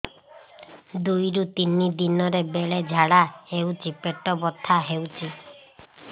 ଦୁଇରୁ ତିନି ଦିନରେ ବେଳେ ଝାଡ଼ା ହେଉଛି ପେଟ ବଥା ହେଉଛି